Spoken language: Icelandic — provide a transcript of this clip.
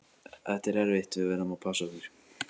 Þetta er erfitt, við verðum að passa okkur.